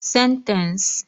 Sentence